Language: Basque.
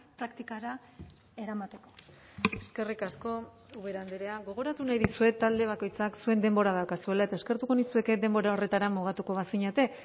praktikara eramateko eskerrik asko ubera andrea gogoratu nahi dizuet talde bakoitzak zuen denbora daukazuela eta eskertuko nizueke denbora horretara mugatuko bazinete